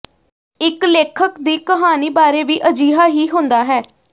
ਇਕ ਲੇਖਕ ਦੀ ਕਹਾਣੀ ਬਾਰੇ ਵੀ ਅਜਿਹਾ ਹੀ ਹੁੰਦਾ ਹੈ